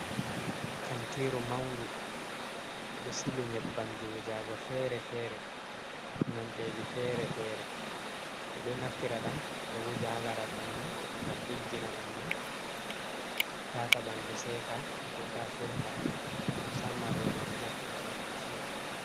Kantiru maunɗu ɓe ɗo sili nyeɓɓamji wujago fere-fere. Nonɗeji fere-fere. Ɓe ɗo naftira ɗam ɓe wuja ha laral ɓanɗu, ngam ɗiggina ɓanɗu, tata ɓanɗu seka, ko ta furɗa. Musamman roɓe ɗo naftira ɗam masin.